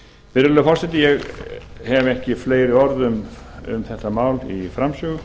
virðulegi forseti ég hef ekki fleiri orð um þetta mál í framsögu